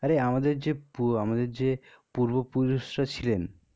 আরে আমাদের যে পু আমাদের যে পূর্ব পুরুষরা ছিলেন.